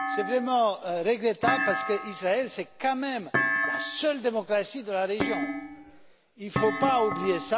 C'est vraiment regrettable parce qu'Israël est quand même la seule démocratie de la région, il ne faut pas l'oublier.